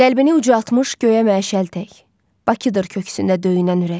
Qəlbini ucaltmış göyə məşəltək Bakıdır köksündə döyünən ürək.